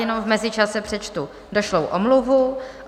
Jenom v mezičase přečtu došlou omluvu.